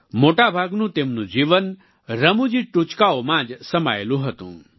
મોટાભાગનું તેમનું જીવન રમૂજી ટૂચકાઓમાં જ સમાયેલું હતું